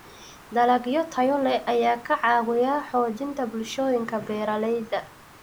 Dalagyo tayo leh ayaa ka caawiya xoojinta bulshooyinka beeralayda.